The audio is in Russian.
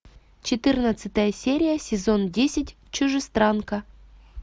четырнадцатая серия сезон десять чужестранка